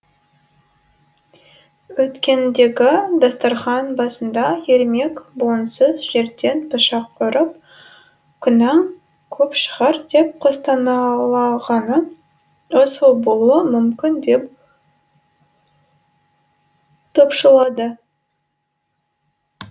өткендегі дастархан басында ермек буынсыз жерден пышақ ұрып күнәң көп шығар деп күстаналағаны осы болуы мүмкін деп топшылады